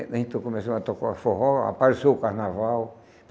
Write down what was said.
né Então começou a tocar o forró, apareceu o carnaval.